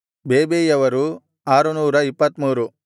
ಬೇಬೈಯವರು 623